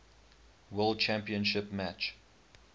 world championship match